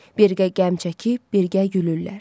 Birgə qəm çəkib birgə gülürlər.